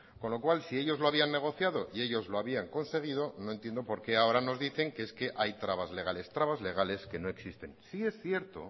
con lo cual si ellos lo habían negociado y ellos lo habían conseguido no entiendo por qué ahora nos dicen que es que hay trabas legales trabas legales que no existen sí es cierto